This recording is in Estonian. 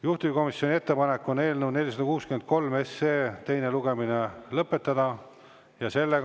Juhtivkomisjoni ettepanek on eelnõu 463 teine lugemine lõpetada.